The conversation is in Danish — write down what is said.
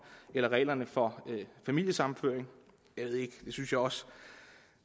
eller reglerne for familiesammenføring det synes jeg også